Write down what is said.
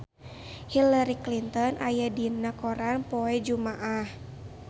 Hillary Clinton aya dina koran poe Jumaah